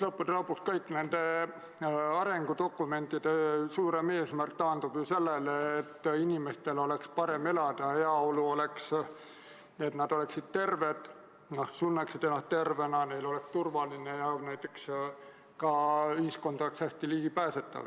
Lõppude lõpuks kõigi arengudokumentide suurem eesmärk taandub sellele, et inimestel oleks parem elada, et nad oleksid terved, tunneksid ennast tervena ja turvaliselt, aga ka, et ühiskonnas oleks hästi tagatud ligipääs.